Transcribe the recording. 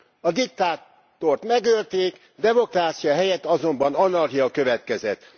A diktátort megölték, demokrácia helyett azonban anarchia következett.